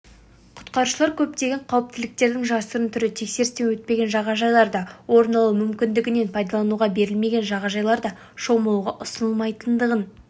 құтқарушылар көптеген қауіптіліктердің жасырын түрі тексерістен өтпеген жағажайларда орын алуы мүмкіндігінен пайдалануға берілмеген жағажайларда шомылуға ұсынылмайтындығын